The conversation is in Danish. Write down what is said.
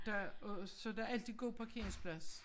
Der er så der altid god parkeringsplads